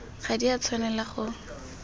ga di a tshwanela go